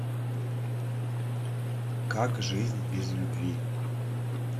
как жизнь без любви